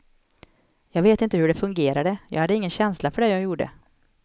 Jag vet inte hur det fungerade, jag hade ingen känsla för det jag gjorde.